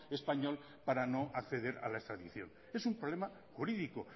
español para no acceder a la extradición es un problema jurídico